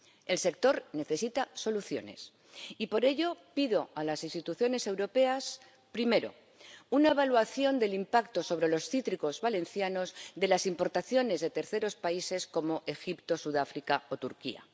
El sector necesita soluciones y, por ello, pido a las instituciones europeas, primero, una evaluación del impacto sobre los cítricos valencianos de las importaciones de terceros países como Egipto, Sudáfrica o Turquía